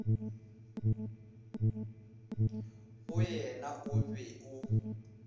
go yena o be o